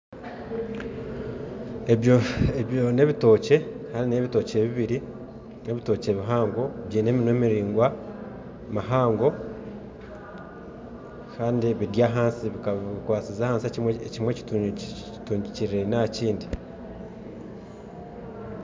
Ebyo n'ebitookye kandi n'ebitookye bibiri, n'ebitookye bihango, byine eminwa miringwa mihango kandi biry'ahansi bikwasize ahansi ekimwe kitungikiririre aha kindi.